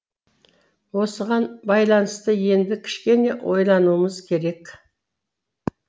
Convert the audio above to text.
осыған байланысты енді кішкене ойлануымыз керек